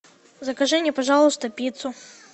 закажи мне пожалуйста пиццу